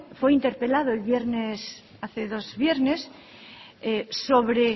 fue interpelado hace dos viernes sobre